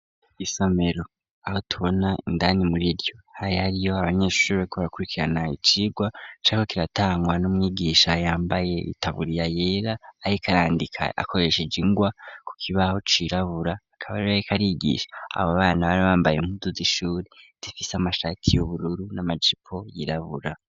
Isomero aho tubona indani muriryo hari ariyo abanyeshushuri bariko barakurikirana icirwa cariko kiratangwa n'umwigisha yambaye itaburiya yera ariko arandika akoreshe ingwa ku kibaho cirabura. Akaba ariko arigisha abo bana bari bambaye impundu z'ishuri difise amashati y'ubururu n'amajipo yirabura.